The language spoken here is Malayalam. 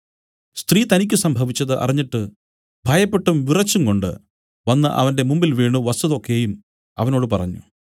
സ്ത്രീ തനിക്കു സംഭവിച്ചത് അറിഞ്ഞിട്ട് ഭയപ്പെട്ടും വിറച്ചുംകൊണ്ടു വന്നു അവന്റെ മുമ്പിൽ വീണു വസ്തുത ഒക്കെയും അവനോട് പറഞ്ഞു